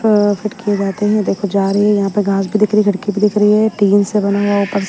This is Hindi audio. अ फिट किए जाते हैं देखो जा रही है यहां पे घास भी दिख रही लड़की भी दिख रही है टीन से बना हुआ ऊपर--